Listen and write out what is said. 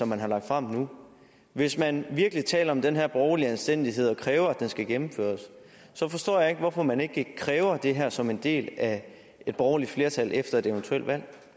man har lagt frem nu og hvis man virkelig taler om den her borgerlige anstændighed kræver at den skal gennemføres så forstår jeg ikke hvorfor man ikke kræver det her som en del af et borgerligt flertal efter et eventuelt valg